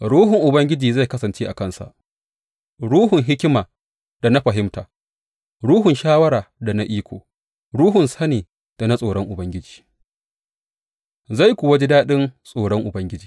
Ruhun Ubangiji zai kasance a kansa, Ruhun hikima da na fahimta, Ruhun shawara da na iko, Ruhun sani da na tsoron Ubangiji, zai kuwa ji daɗin tsoron Ubangiji.